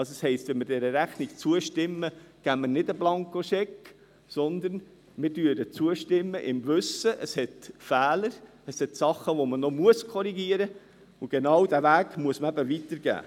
Also heisst es, wenn wir dieser Rechnung zustimmen, geben wir nicht einen Blankoscheck, sondern wir stimmen ihr im Wissen darum zu, dass sie Fehler, Sachen hat, die man noch korrigieren muss, und genau diesen Weg muss man eben weitergeben.